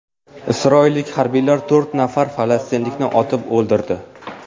Isroillik harbiylar to‘rt nafar falastinlikni otib o‘ldirdi.